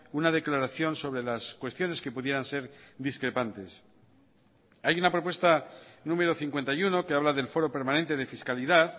una declaración sobre las cuestiones que pudieran ser discrepantes hay una propuesta número cincuenta y uno que habla del foro permanente de fiscalidad